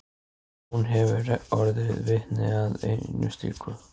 Hún hefur orðið vitni að einu slíku.